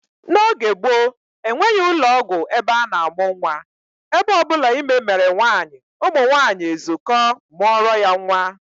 N'oge gboo, enweghị ụlọọgwụ ebe a na-amụ nnwa, ebe ọ bụla ime mere nwaanyị, ụmụnwaanyị ezukọọ mụọrọ ya nnwa